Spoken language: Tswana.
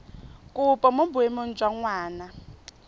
kopo mo boemong jwa ngwana